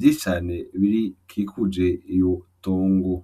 vyicane bikikuje iyo tongo.